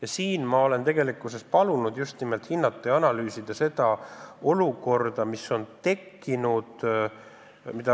Ja siin ma olen palunud just nimelt hinnata ja analüüsida seda olukorda, mis on tekkinud.